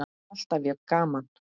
Alltaf jafn gaman!